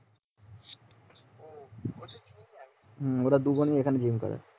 হুম ওরা দুজনই এখানে জিম করে